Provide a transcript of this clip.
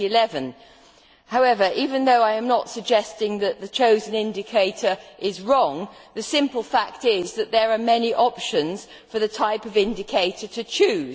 2011. However, even though I am not suggesting that the chosen indicator is wrong, the simple fact is that there are many options as to the type of indicator to chose.